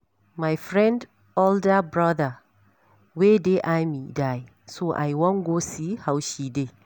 My friend older broda wey dey army die so I wan go see how she dey